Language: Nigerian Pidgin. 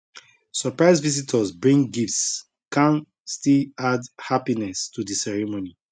surprise visitors bring gifts kan still add happiness to the ceremony